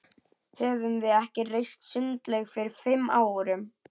Höfðum við ekki reist sundlaug fyrir fimm árum?